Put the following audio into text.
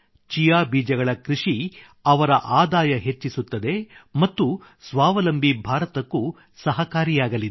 chia ಬೀಜಗಳ ಕೃಷಿ ಅವರ ಆದಾಯ ಹೆಚ್ಚಿಸುತ್ತದೆ ಮತ್ತು ಸ್ವಾವಲಂಬಿ ಭಾರತಕ್ಕೂ ಸಹಕಾರಿಯಾಗಲಿದೆ